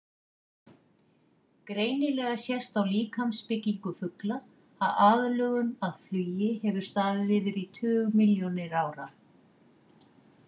Greinilega sést á líkamsbyggingu fugla að aðlögun að flugi hefur staðið yfir í tugmilljónir ára.